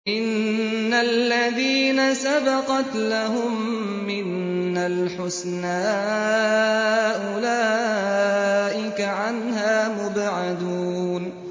إِنَّ الَّذِينَ سَبَقَتْ لَهُم مِّنَّا الْحُسْنَىٰ أُولَٰئِكَ عَنْهَا مُبْعَدُونَ